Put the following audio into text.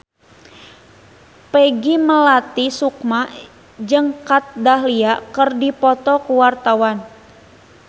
Peggy Melati Sukma jeung Kat Dahlia keur dipoto ku wartawan